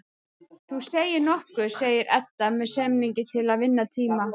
Þú segir nokkuð, segir Edda með semingi til að vinna tíma.